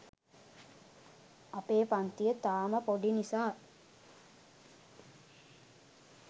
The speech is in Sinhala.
අපේ පංතිය තාම පොඩි නිසා